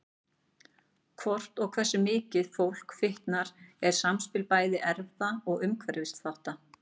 Hvort og hversu mikið fólk fitnar er samspil bæði erfða og umhverfisþátta.